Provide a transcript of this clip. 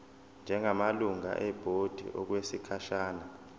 njengamalungu ebhodi okwesikhashana